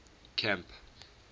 camp